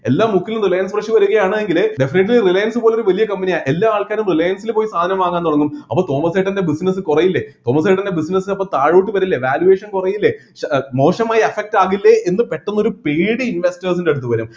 എല്ലാ മുക്കിലും Reliance fresh വരുകയാണെങ്കില് definitely റിലയൻസ് പോലുള്ള വലിയ company യെ എല്ലാ ആൾക്കാരും റിലയൻസിൽ പോയി സാധനം വാങ്ങാൻ തുടങ്ങും അപ്പൊ തോമസേട്ടൻ്റെ business കുറയില്ലേ തോമസേട്ടൻ്റെ business അപ്പൊ താഴോട്ട് വരില്ലേ valuation കുറയില്ലെ മോശമായി affect ആകില്ലേ എന്ന് പെട്ടെന്ന് ഒരു പേടി investors ൻ്റെ അടുത്ത് വരും